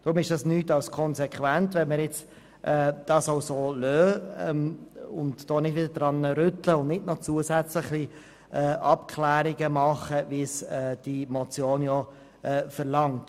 Darum ist es nichts als konsequent, wenn wir das jetzt auch so lassen und nicht wieder daran rütteln und noch zusätzliche Abklärungen durchführen, wie es die Motion verlangt.